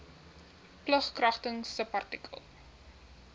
plig kragtens subartikel